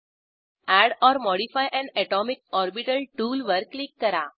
add or modify an atomic orbital टूलवर click करा